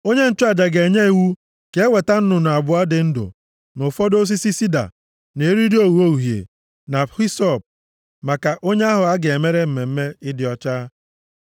onye nchụaja ga-enye iwu ka e weta nnụnụ abụọ dị ndụ, na ụfọdụ osisi sida, na eriri ogho uhie, na hisọp, maka onye ahụ a ga-emere mmemme ịdị ọcha.